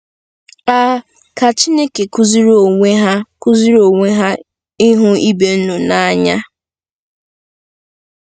A "ka Chineke kụziiri onwe ha kụziiri onwe ha ịhụ ibe unu n'anya."